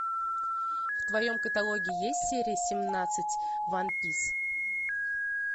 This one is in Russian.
в твоем каталоге есть серия семнадцать ван пис